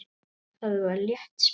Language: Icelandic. Það var létt spil.